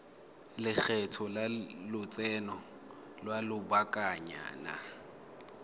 lekgetho la lotseno lwa lobakanyana